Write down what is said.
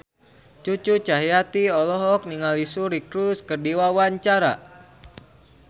Cucu Cahyati olohok ningali Suri Cruise keur diwawancara